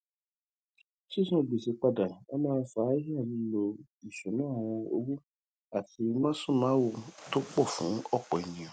sísan gbèsè padà á má a fa hílàhílo ìṣúnná owó àti másùnmáwo tó pọ fún ọpọ ènìyàn